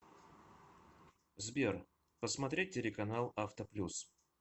сбер посмотреть телеканал авто плюс